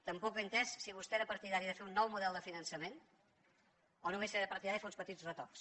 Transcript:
tampoc he entès si vostè era partidari de fer un nou model de finançament o només era partidari de fer uns petits retocs